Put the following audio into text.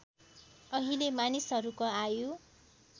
अहिले मानिसहरूको आयु